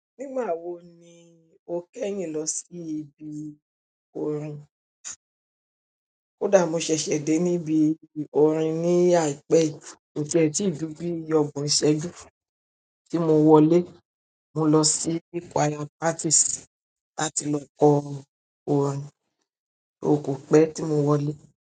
Nígbà wo ni o kẹ́yìn lọ sí ibi orin? Kódà mo sẹsẹ dé níbi orin ní aipẹ yìí, kò tiẹ ti jù bíi ọgbọ́n isẹju tí mo wọlé, mo lọ sí choir practice láti lọ kọ orin kò pẹ́ tí mo wọlé.